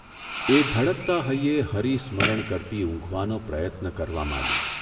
એ ધડકતા હૈયે હરિસ્મરણ કરતી ઊંઘવાનો પ્રયત્ન કરવા માંડી.